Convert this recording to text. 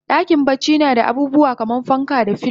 Dakin bacci nada abubuwa kaman fanka da filo